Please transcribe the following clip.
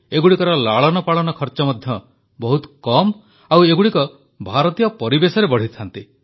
ଏଗୁଡ଼ିକର ଲାଳନପାଳନ ଖର୍ଚ୍ଚ ମଧ୍ୟ ବହୁତ କମ୍ ଓ ଏଗୁଡ଼ିକ ଭାରତୀୟ ପରିବେଶରେ ବଢ଼ିଥାନ୍ତି